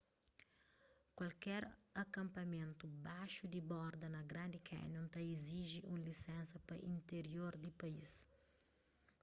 kualker akanpamentu baxu di borda na grand canyon ta iziji un lisénsa pa intirior di país